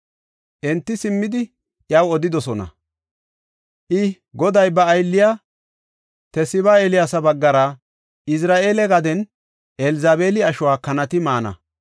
Enti simmidi, iyaw odidosona; i, “Goday ba aylliya Tisiba Eeliyaasa baggara, ‘Izra7eele gaden Elzabeeli ashuwa kanati maana.